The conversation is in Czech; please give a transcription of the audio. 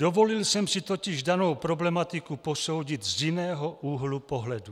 Dovolil jsem si totiž danou problematiku posoudit z jiného úhlu pohledu.